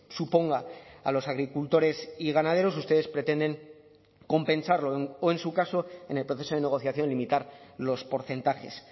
suponga a los agricultores y ganaderos ustedes pretenden compensarlo o en su caso en el proceso de negociación limitar los porcentajes